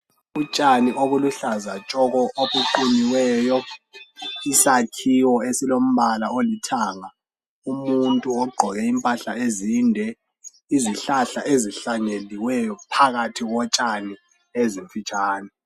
Utshani obuluhlaza tshoko obuqunyiweyo isakhiwo esilombala olithanga umuntu ogqoke impahla ezinde izihlahla ezihlanyeliweyo phakathi kotshani ezimfitshane.